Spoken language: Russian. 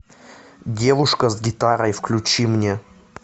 девушка с гитарой включи мне